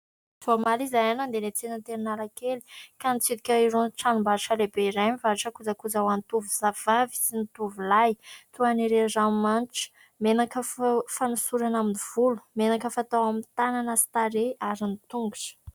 Vao omaly izahay nandeha niantsena teny Analakely ka nitsidika irony tranom-barotra lehibe iray nivarotra kojakojan-tovovavy sy ny tovolahy toa ireo ranomanitra, menaka fanosorana amin'ny volo, menaka fatao amin'ny tanana sy tarehy ary ny tongotra.